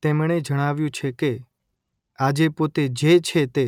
તેમણે જણાવ્યું છે કે આજે પોતે જે છે તે